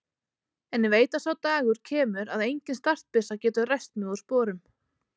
En ég veit að sá dagur kemur að engin startbyssa getur ræst mig úr sporum.